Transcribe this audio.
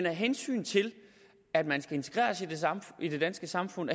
af hensyn til at man skal integreres i det danske samfund